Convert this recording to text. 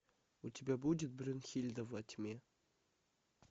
у тебя будет брюнхильда во тьме